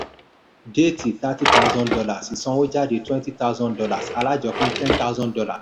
déètì thirty thousand dollars ìsanwójáde twenty thousand dollars alájọpín ten thousand dollar